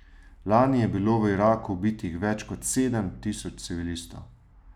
Lani je bilo v Iraku ubitih več kot sedem tisoč civilistov.